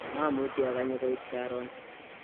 mamuchi akanye koit karon